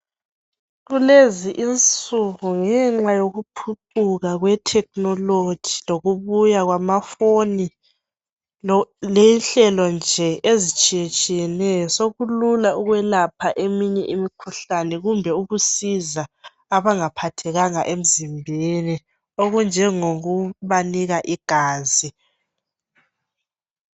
Kulezi insuku ngenxa yokuphucuka kwe technology lokubuya kwamafoni lenhlelo nje ezitshiyetshiyeneyo sokulula ukwelapha eminye imikhuhlane kumbe ukusiza abangaphathekanga emzimbeni okunjengokubanika igazi